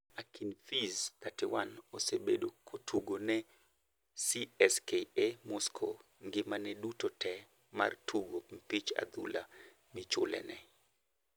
Akinfeev, 31, osebedo kotugo ne CSKA Moscow ngimane duto tee mar tugo mpich adhula michule ne.